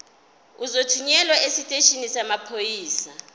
uzothunyelwa esiteshini samaphoyisa